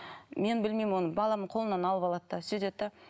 мен білмеймін оны баламның қолынан алып алады да сөйтеді де